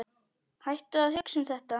Hættu að hugsa um þetta.